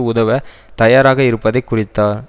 உதவ தயாராக இருப்பதை குறித்தார்